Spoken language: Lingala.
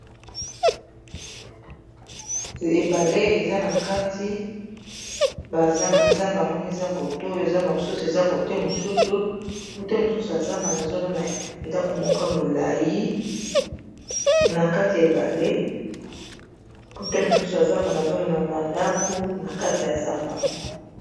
ebale eza na kati bazamba moko eza kote oyo zamba mosusu eza kote mosusu kote mosusu ya zamba nazomona ndako moka molai na kati ya ebale kote mosusu ya zamba nazomona bandako na kati ya zamba ngo